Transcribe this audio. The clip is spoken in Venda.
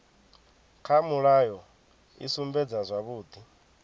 kha mulayo i sumbedza zwavhudi